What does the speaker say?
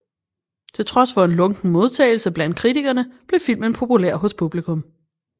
Til trods for en lunken modtagelse blandt kritikerne blev filmen populær hos publikum